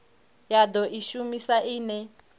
ya do i shumisa ine